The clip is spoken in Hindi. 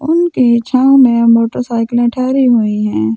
उनके छाव मे मोटरसाइकिल ठहरी हुई हैं।